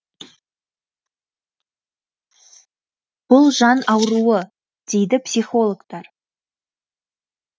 бұл жан ауруы дейді психологтар